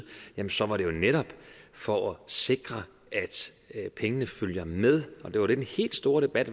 så var det jo netop for at sikre at pengene følger med og det var det den helt store debat